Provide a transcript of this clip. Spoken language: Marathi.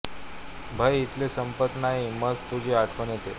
भय इथले संपत नाही मज तुझी आठवण येते